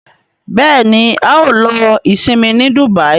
Béèni ào ló Isinmi ní Dubai.